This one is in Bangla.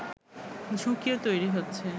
ঝুঁকিও তৈরি হচ্ছে